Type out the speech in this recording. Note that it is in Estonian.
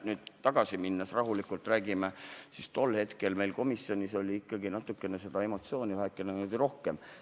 Nüüd tagasi vaadates räägime rahulikult, aga tol hetkel oli meil komisjonis seda emotsiooni ikkagi väheke rohkem.